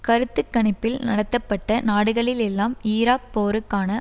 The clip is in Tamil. கருத்து கணிப்பில் நடத்தப்பட்ட நாடுகளிளெல்லாம் ஈராக் போருக்கான